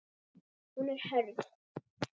Hún er hörð.